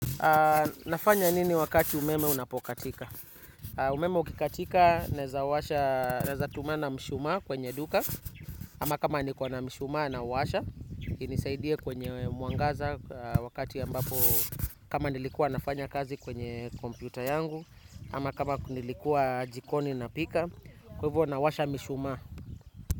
Nafanya nini wakati umeme unapokatika? Umeme ukikatika, naeza washa naeza tumana mshumaa kwenye duka, ama kama nikona mshumaa nauwasha, inisaidie kwenye mwangaza wakati ambapo kama nilikuwa nafanya kazi kwenye kompyuta yangu, ama kama nilikuwa jikoni napika, kwa hivyo nawasha mishumaa.